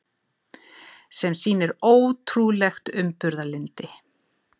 Sem sýnir ótrúlegt umburðarlyndi.